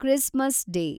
Christmas day